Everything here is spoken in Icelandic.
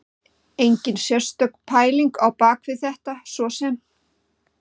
Enginn sérstök pæling á bak við þetta svo sem.